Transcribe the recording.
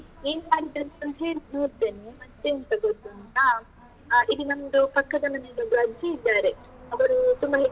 ನೀನು ಮಾಡಿದ್ದನ್ನುಸ ಮಾಡಿ ನೋಡ್ತೇನೆ. ಮತ್ತೆಂತ ಗೊತ್ತುಂಟಾ? ಆ ಇದು ನಮ್ದು ಪಕ್ಕದ ಮನೆಯಲ್ಲಿ ಒಂದು ಅಜ್ಜಿ ಇದ್ದಾರೆ. ಅವರು ತುಂಬ